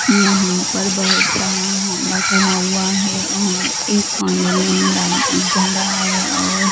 यहां पर बहुत सारा होंडा खड़ा हुआ है और एक होंडे में लाइट जल रहा है और--